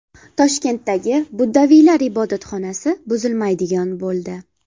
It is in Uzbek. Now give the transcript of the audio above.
Toshkentdagi buddaviylar ibodatxonasi buzilmaydigan bo‘ldi.